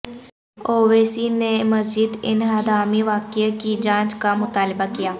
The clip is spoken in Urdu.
اویسی نے مسجد انہدامی واقعہ کی جانچ کا مطالبہ کیا